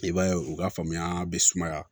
I b'a ye u ka faamuya be sumaya